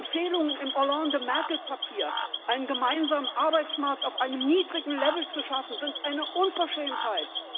Die Empfehlungen im Hollande Merkel Papier, einen gemeinsamen Arbeitsmarkt auf einem niedrigen Level zu schaffen, sind eine Unverschämtheit!